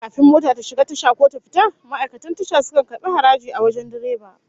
Kafin mota ta shiga tasha ko ta fita, ma'aikatan Tasha sukan karbi haraji a wajen direba